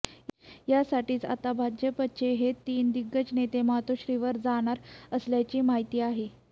यासाठीच आता भाजपचे हे तीन दिग्गज नेते मातोश्रीवर जाणार असल्याची माहिती आहे